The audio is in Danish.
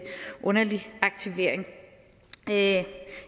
underlig aktivering